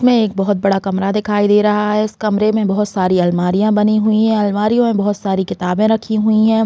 इसमें एक बहोत बड़ा कमरा दिखाई दे रहा है इस कमरे में बहुत सारी आलमारियाँ दिखाई दे रही है अलमारियों में बहुत सारी किताबे रखी हुई है।